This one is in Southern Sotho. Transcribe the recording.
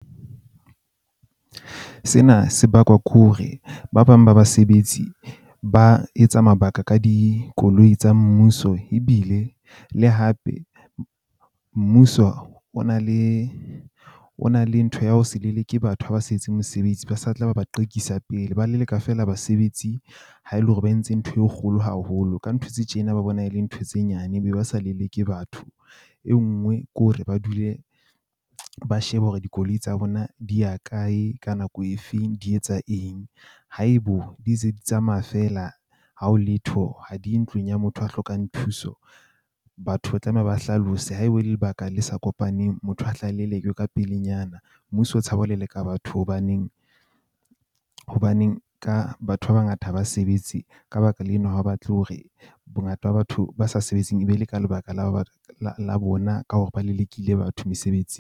Sena se bakwa ke hore ba bang ba basebetsi ba etsa mabaka ka dikoloi tsa mmuso. Ebile le hape mmuso o na le o na le ntho ya ho se leleke batho ha ba sa etse mosebetsi. Ba sa tla ba ba qekisa pele. Ba leleka feela basebetsi ha e le hore ba entse ntho e kgolo haholo. Ka ntho tse tjena, ba bona e le ntho tse nyane, ba be ba sa leleke batho. E nngwe ke hore ba dule ba shebe hore dikoloi tsa bona di ya kae, ka nako e feng, di etsa eng haebo di se di tsamaya feela. Ha ho letho ha di ye ntlong ya motho ya hlokang thuso. Batho ba tlameha ba hlalose haebe lebaka le sa kopaneng motho a hle a lelekwe ka pelenyana. Mmuso o tshaba ho leleka batho hobaneng hobaneng ka batho ba bangata ha ba sebetse. Ka baka lena ha ba batle hore bongata ba batho ba sa sebetseng e be le ka lebaka lena ha batle hore bongata ba batho ba sa sebetseng e be le ka lebaka la hore la bona ka hore ba lelekile batho .